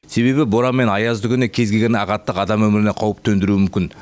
себебі боран мен аязды күні кез келген ағаттық адам өміріне қауіп төндіруі мүмкін